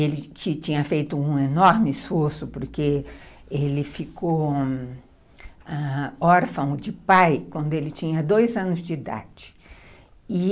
Ele tinha tinha feito um enorme esforço porque ele ficou ãh... órfão de pai quando ele tinha dois anos de idade.